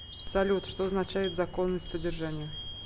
салют что означает законность содержания